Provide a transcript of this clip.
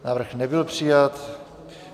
Návrh nebyl přijat.